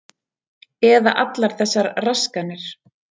Eða allar þessar raskanir.